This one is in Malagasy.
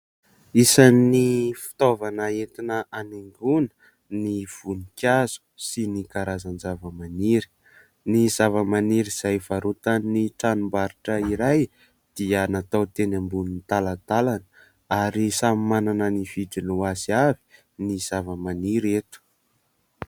Isan'ny fitaovana entina hanaingoana ny voninkazo sy ny karazan-javamaniry. Ny zavamaniry izay varotan'ny tranombarotra iray dia natao teny ambonin'ny talantalana ary samy manana ny vidiny ho azy avy ny zavamaniry eto.